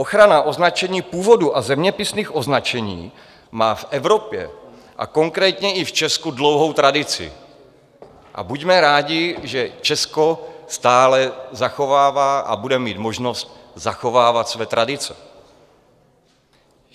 Ochrana označení původu a zeměpisných označení má v Evropě a konkrétně i v Česku dlouhou tradici a buďme rádi, že Česko stále zachovává a bude mít možnost zachovávat své tradice.